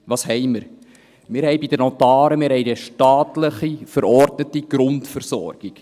Was haben wir? – Wir haben bei den Notaren eine staatlich verordnete Grundversorgung.